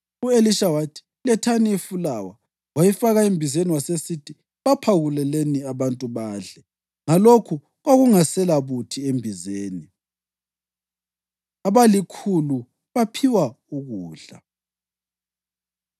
U-Elisha wathi, “Lethani ifulawa.” Wayifaka embizeni wasesithi, “Baphakuleleni abantu badle.” Ngalokho kwakungaselabuthi embizeni. Abalikhulu Baphiwa Ukudla